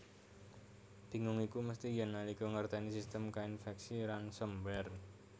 Bingung iku mesti yèn nalika ngertèni sistem kainfèksi ransomware